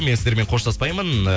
мен сіздермен қоштаспаймын